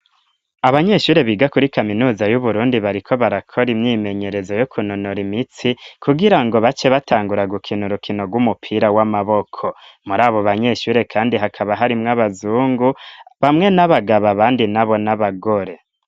Abanyeshure biga kuri kaminuza y'uburundi bariko barakora imyimenyerezo yo kunonora imitsi kugira ngo bace batangura gukina urukino rw'umupira w'amaboko; muri abo banyeshure kandi hakaba harimwe abazungu bamwe n'abagabo abandi nabo n'abagore.